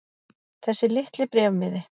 Þessi litli bréfmiði.